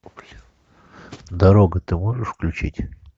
дорога ты можешь включить